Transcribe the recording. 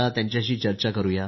त्यांच्याशी आता चर्चा करू या